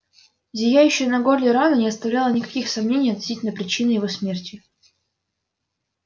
зияющая на горле рана не оставляла никаких сомнений относительно причины его смерти